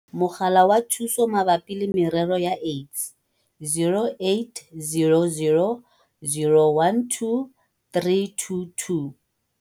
Mogala wa Thuso Mabapi le Merero ya AIDS - 0800 012 322.